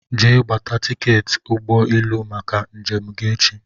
Jee gbata tiketi ụgbọ élú màkà njem gị echi!!!